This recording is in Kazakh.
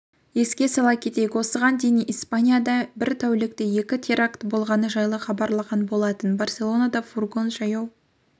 еске сала кетейік осыған дейіниспанияда бір тәулікте екі теракт болғаны жайлы хабарланған болатын барселонада фургон жаяу